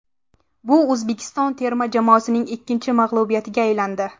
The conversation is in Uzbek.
Bu O‘zbekiston terma jamoasining ikkinchi mag‘lubiyatiga aylandi.